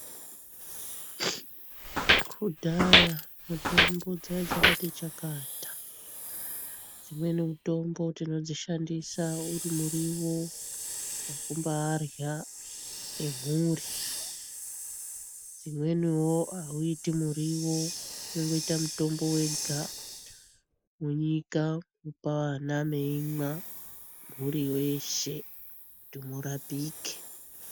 Kudhaya mitombo dzanga dzakati chakata , dzimweni mitombo tinodzishandisa uri muriyo wekubaarya nemhuri dzimweniwo auiti muriwo unongoita mutombo wega, mwonyika mopa vana meimwa mhuri yeshe kuti murapike.